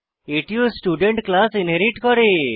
এটিও student class inherit করে